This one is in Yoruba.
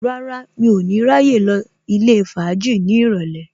Rárá, mi ò ní ráyè lọ ilé fàájì ní ìrọ̀lẹ́